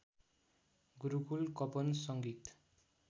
गुरुकुल कपन संगीत